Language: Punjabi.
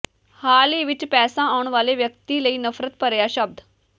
ਹਾਲ ਹੀ ਵਿਚ ਪੈਸਾ ਆਉਣ ਵਾਲੇ ਵਿਅਕਤੀ ਲਈ ਨਫ਼ਰਤ ਭਰਿਆ ਸ਼ਬਦ